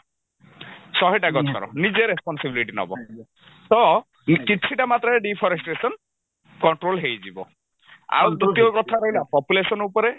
ଶହେଟା ଗଛର ନିଜେ responsibility ନବ ତ କିଛିଟା ମାତ୍ରାରେ deforestation control ହେଇଯିବ ଆଉ ତୃତୀୟ କଥା ରହିଲା population ଉପରେ